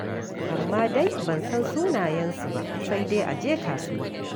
Amma dai ban san sunayensu ba, sai dai a je kasuwa.